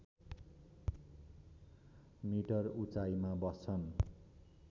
metre उचाइमा बस्छन्